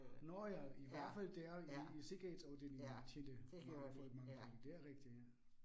Nåh ja i hvert fald, der i i sikkerhedsafdelingen tjente mange folk mange penge. Det er rigtigt ja